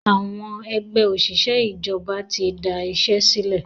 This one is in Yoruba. Àwọn Ẹgbẹ́ òṣìṣẹ́ ìjọba tí da iṣẹ́ sílẹ̀.